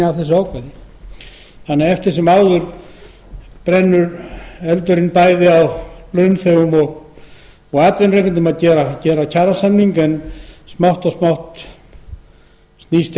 að draga kjarasamningagerð eftir sem áður brennur bæði á launþegum og atvinnurekendum að gera kjarasamning en smátt og smátt snýst